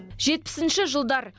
жетпісінші жылдар